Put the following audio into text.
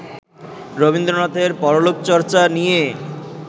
রবীন্দ্রনাথের পরলোকচর্চা নিয়ে